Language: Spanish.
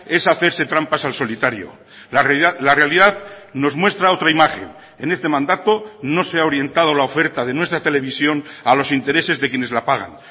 es hacerse trampas al solitario la realidad nos muestra otra imagen en este mandato no se ha orientado la oferta de nuestra televisión a los intereses de quienes la pagan